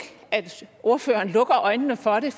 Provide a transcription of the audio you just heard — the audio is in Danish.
at ordføreren lukker øjnene for det